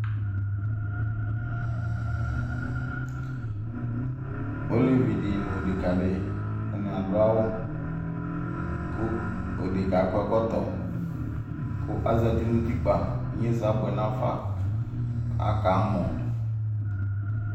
Elevidi nʋ odekadi atani adʋ awʋ kʋ odeka yɛ akɔ ɛkɔtɔ kʋ azati nʋ ʋtikpa inyeza abʋe nafa kʋ aka mɔ